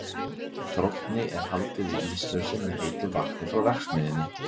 Þrónni er haldið íslausri með heitu vatni frá verksmiðjunni.